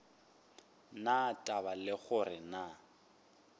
na taba le gore na